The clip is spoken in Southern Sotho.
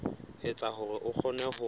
etsa hore a kgone ho